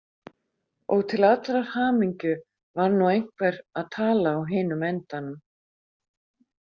Og til allrar hamingju var nú einhver að tala á hinum endanum.